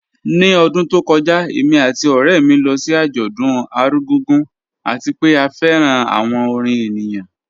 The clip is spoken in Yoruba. Ni ọdún tó kọ́jà, èmi àti ọ̀rẹ̀ mi lọ sí ajọ̀dún Argungu, àti pẹ̀ à fẹ́ran awọn orin ènìyàn